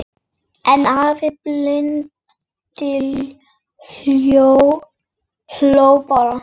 En afi blindi hló bara.